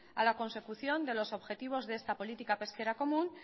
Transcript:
a la consecución de los objetivos de esta política pesquera común